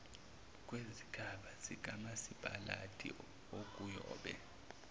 kwezigaba zikamasipalati okuyobe